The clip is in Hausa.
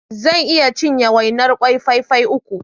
Zan iya cinye wainar kwai fai fai uku.